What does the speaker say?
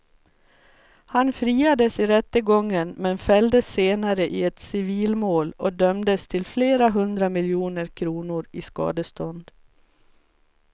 Han friades i rättegången men fälldes senare i ett civilmål och dömdes till flera hundra miljoner kronor i skadestånd.